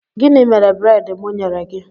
Gịnị mere breedi mụ nyere gị?